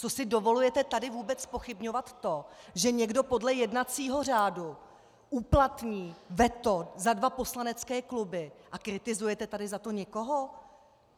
Co si dovolujete tady vůbec zpochybňovat to, že někdo podle jednacího řádu uplatní veto za dva poslanecké kluby, a kritizujete tady za to někoho?